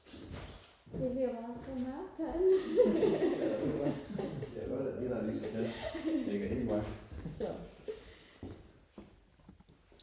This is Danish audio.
det bliver bare så mørkt herinde